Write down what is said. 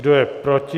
Kdo je proti?